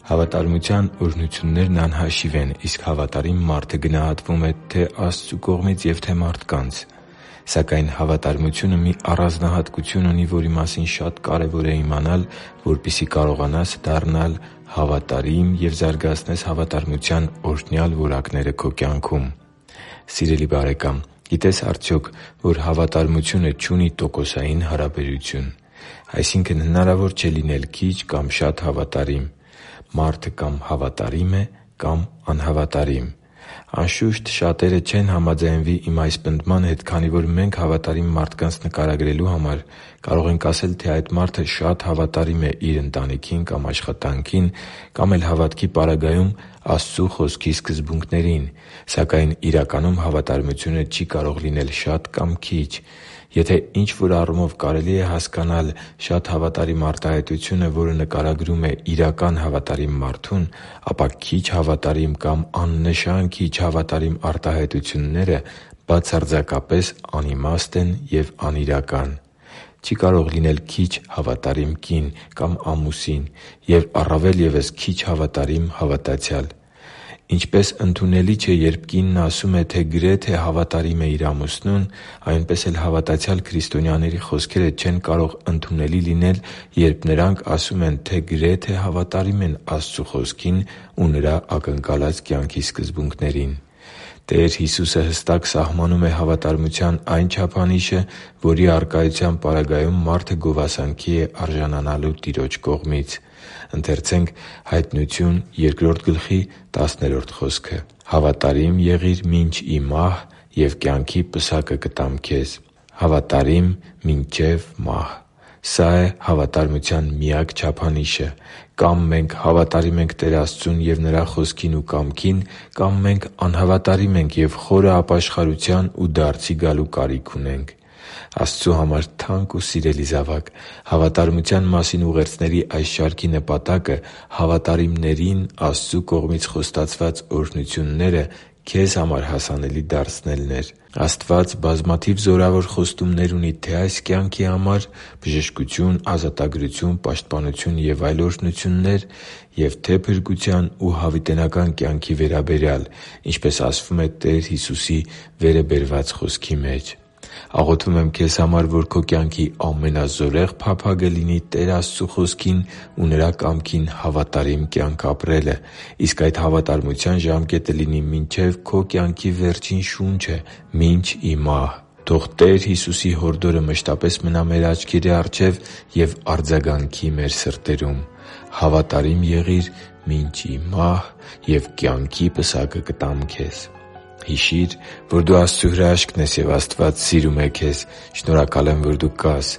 Հավատարմության օրհնություններն անհաշիվ են, իսկ հավատարիմ մարդը գնահատվում է թե՛ Աստծու կողմից և թե՛ մարդկանց։ Սակայն հավատարմությունը մի առանձնահատկություն ունի, որի մասին շատ կարևոր է իմանալ, որպեսզի կարողանաս դառնալ հավատարիմ և զարգացնես հավատարմության օրհնյալ որակները քո կյանքում։ Սիրելի՛ բարեկամ, գիտե՞ս արդյոք, որ հավատարմությունը չունի տոկոսային հարաբերություն։ Այսինքն՝ հնարավոր չէ լինել քիչ կամ շատ հավատարիմ։ Մարդը կա՛մ հավատարիմ է, կա՛մ՝ անհավատարիմ։ Անշուշտ, շատերը չեն համաձայնվի իմ այս պնդման հետ, քանի որ մենք հավատարիմ մարդկանց նկարագրելու համար կարող ենք ասել, թե այդ մարդը շատ հավատարիմ է իր ընտանիքին, կամ աշխատանքին, կամ էլ հավատքի պարագայում՝ Աստծու Խոսքի սկզբունքներին։ Սակայն իրականում հավատարմությունը չի կարող լինել շատ կամ քիչ։ Եթե ինչ-որ առումով կարելի է հասկանալ «շատ հավատարիմ» արտահայտությունը, որը նկարագրում է իրական հավատարիմ մարդուն, ապա «քիչ հավատարիմ» կամ «աննշան քիչ հավատարիմ» արտահայտությունները բացարձակապես անիմաստ են և անիրական։ Չի կարող լինել քիչ հավատարիմ կին կամ ամուսին և, առավել ևս, քիչ հավատարիմ հավատացյալ։ Ինչպես ընդունելի չէ, երբ կինն ասում է, թե գրեթե հավատարիմ է իր ամուսնուն, այնպես էլ հավատացյալ քրիստոնյաների խոսքերը չեն կարող ընդունելի լինել, երբ նրանք ասում են, որ գրեթե հավատարիմ են Աստծու Խոսքին ու Նրա ակնկալած կյանքի սկզբունքներին։ Տեր Հիսուսը հստակ սահմանում է հավատարմության այն չափանիշը, որի առկայության պարագայում մարդը գովասանքի է արժանանալու Տիրոջ կողմից․ «Հավատարի՛մ եղիր մինչև մահ, և կյանքի պսակը կտամ քեզ» (Հայտնություն 2.10)։ «Հավատարի՛մ մինչև մահ․․․»։ Սա՛ է հավատարմության միակ չափանիշը։ Կա՛մ մենք հավատարիմ ենք Տեր Աստծուն և Նրա Խոսքին ու կամքին, կա՛մ մենք անհավատարիմ ենք և խորը ապաշխարության ու դարձի գալու կարիք ունենք։ Աստծու համար թանկ ու սիրելի՛ զավակ, հավատարմության մասին ուղերձների այս շարքի նպատակը հավատարիմներին Աստծու կողմից խոստացված օրհնությունները քեզ համար հասանելի դարձնելն էր։ Աստված բազմաթիվ զորավոր խոստումներ ունի թե՛ այս կյանքի համար՝ բժշկություն, ազատագրություն, պաշտպանություն և այլ օրհնություններ, և թե՛ փրկության ու հավիտենական կյանքի վերաբերյալ, ինչպես ասվում է Տեր Հիսուսի՝ վերը բերված խոսքի մեջ։ Աղոթում եմ քեզ համար, որ քո կյանքի ամենազորեղ փափագը լինի Տեր Աստծու Խոսքին ու Նրա կամքին հավատարիմ կյանք ապրելը, իսկ այդ հավատարմության ժամկետը լինի մինչև քո կյանքի վերջին շունչը՝ մինչ ի մահ։ Թո՛ղ Տեր Հիսուսի հորդորը մշտապես մնա մեր աչքերի առջև և արձագանքի մեր սրտերում․ «Հավատարի՛մ եղիր մինչև մահ, և կյանքի պսակը կտամ քեզ»։ Հիշի՛ր, որ դու Աստծո հրաշքն ես, և Աստված սիրում է քեզ։ Շնորհակալ եմ, որ դու կա՛ս